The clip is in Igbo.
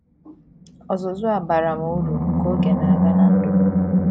Ọzụzụ a baara m uru ka oge na - aga ná ndụ m.